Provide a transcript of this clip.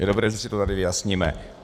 Je dobré, že si to tady vyjasníme.